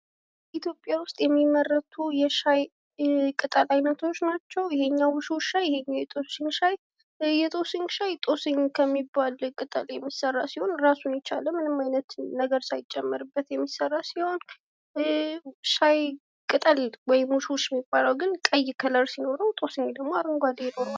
ኢትዮጵያ ውስጥ የሚመረቱ የሻይ ቅጠል አይነቶች ናቸው። ይህኛው ውሽውሽ ሻይ ይህኛው የጦስኝ ሻይ ጦስኝ ከሚባል ቅጠል የሚሰራ ሲሆን እራሱን የቻለ ምንም አይነት ነገር ሳይጨመርበት የሚስራ ሲሆን ይህ የሻይ ቅጠል ወይም ውሽውሽ የሚባለው ግን ቀይ ቀለም ሲኖረው ጦስኝ ደግሞ አረንጓዴ ቀለም አለው።